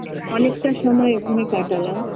অনেকটা সময় ওখানে কাটালাম